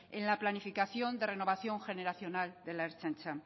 en la planificación de renovación generacional de la ertzaintza